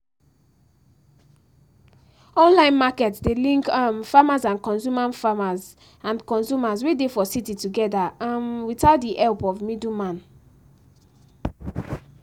online market dey link um farmers and consumers farmers and consumers wey dey for city together um without the help of middle man